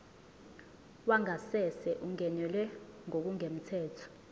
wangasese ungenelwe ngokungemthetho